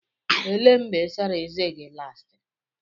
Elee mgbe ị sara ezé gị last?